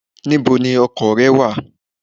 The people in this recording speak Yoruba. Where is your car?